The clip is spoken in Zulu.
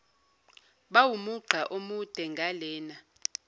bawumugqa omude ngalena